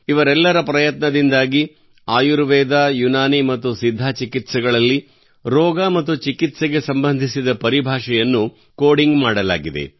ಇವರಿಬ್ಬರ ಪ್ರಯತ್ನದಿಂದಾಗಿ ಆಯುರ್ವೇದ ಯುನಾನಿ ಮತ್ತು ಸಿದ್ಧ್ ಚಿಕಿತ್ಸೆಗಳಲ್ಲಿ ರೋಗ ಮತ್ತು ಚಿಕಿತ್ಸೆಗೆ ಸಂಬಂಧಿಸಿದ ಪರಿಭಾಷೆಯನ್ನು ಕೋಡಿಂಗ್ ಮಾಡಲಾಗಿದೆ